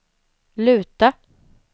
luta